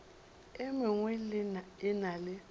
e mengwe e na le